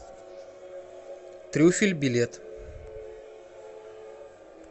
трюфель билет